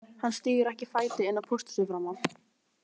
Hann stígur ekki fæti inn á pósthúsið framar